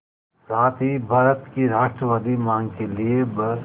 साथ ही भारत की राष्ट्रवादी मांग के लिए ब्